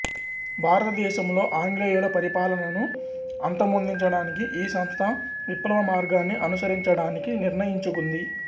భారతదేశంలో ఆంగ్లేయుల పరిపాలనను అంతమొందించడానికి ఈ సంస్థ విప్లవ మార్గాన్ని అనుసరించడానికి నిర్ణయించుకుంది